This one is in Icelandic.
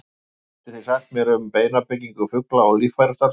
hvað getið þið sagt mér um beinabyggingu fugla og líffærastarfsemi